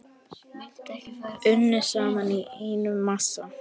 Unnið saman í einn massa.